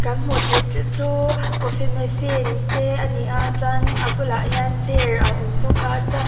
kan hmuh theih te chu coffee machine te ani a chuan a bulah hian chair a awm bawk a.